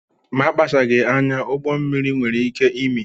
Ma a kpachaghị anya, ụgbọmmiri nwere ike imi